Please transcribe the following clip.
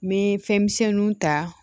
N bɛ fɛnmisɛnninw ta